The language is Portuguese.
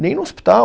Nem no hospital.